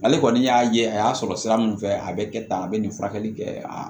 Ale kɔni y'a ye a y'a sɔrɔ sira min fɛ a bɛ kɛ tan a bɛ nin furakɛli kɛ a